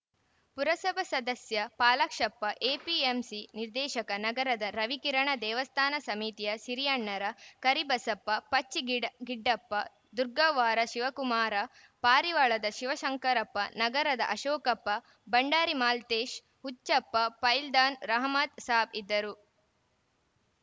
ಪುರಸಭಾ ಸದಸ್ಯ ಪಾಲಾಕ್ಷಪ್ಪ ಎಪಿಎಂಸಿ ನಿರ್ದೇಶಕ ನಗರದ ರವಿಕಿರಣ ದೇವಸ್ಥಾನ ಸಮಿತಿಯ ಸಿರಿಯಣ್ಣರ ಕರಿಬಸಪ್ಪ ಪಚ್ಚಿ ಗಿಡ್ಡಪ್ಪ ದುರ್ಗವ್ವಾರ ಶಿವಕುಮಾರಪಾರಿವಾಳದ ಶಿವಶಂಕರಪ್ಪ ನಗರದ ಅಶೋಕಪ್ಪ ಭಂಡಾರಿ ಮಾಲ್ತೇಶ್ ಹುಚ್ಚಪ್ಪ ಪೈಲ್ವಾನ್‌ ರಹಮತ್‌ ಸಾಬ್‌ ಇದ್ದರು